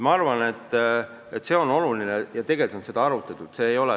Ma arvan, et see on oluline teema ja tegelikult on seda arutatud.